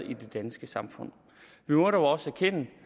i det danske samfund vi må dog også erkende